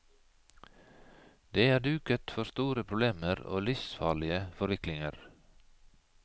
Det er duket for store problemer og livsfarlige forviklinger.